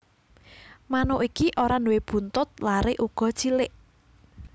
Manuk iki ora nduwé buntut lare uga cilik